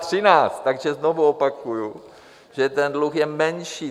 Takže znovu opakuji, že ten dluh je menší.